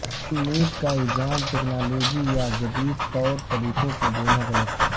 کم نیند کا الزام ٹیکنالوجی یا جدید طور طریقوں کو دینا غلط